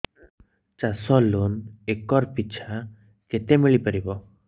ଚାଷ loan acre ପିଛା କେତେ ମିଳି ପାରିବ